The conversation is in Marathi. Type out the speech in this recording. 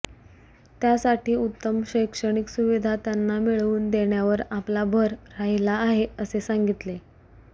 त्यासाठी उत्तम शैक्षणिक सुविधा त्यांना मिळवून देण्यावर आपला भर राहिला आहे असे सांगितले